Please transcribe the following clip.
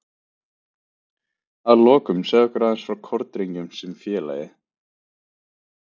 Að lokum segðu okkur aðeins frá Kórdrengjum sem félagi?